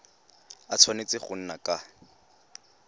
a tshwanetse go nna ka